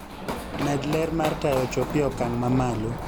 Med ler mar taya ochopie okang mamalo